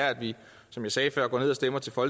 for